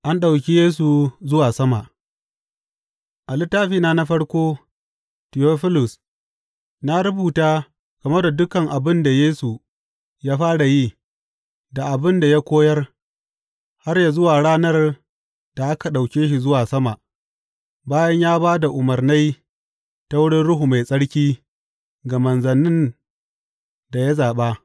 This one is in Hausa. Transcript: An ɗauki Yesu zuwa sama A littafina na farko, Tiyofilus, na rubuta game da dukan abin da Yesu ya fara yi, da abin da ya koyar har zuwa ranar da aka ɗauke shi zuwa sama, bayan ya ba da umarnai ta wurin Ruhu Mai Tsarki ga manzannin da ya zaɓa.